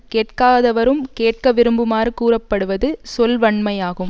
கேட்காதவரும் கேட்க விரும்புமாறு கூறப்படுவது சொல்வன்மையாகும்